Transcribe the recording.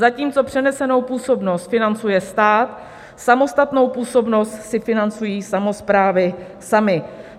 Zatímco přenesenou působnost financuje stát, samostatnou působnost si financují samosprávy samy.